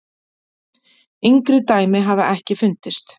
Yngri dæmi hafa ekki fundist.